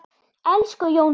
Elsku Jóndór!